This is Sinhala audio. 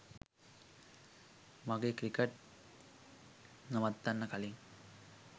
මගේ ක්‍රිකට් නවත්තන්න කලින්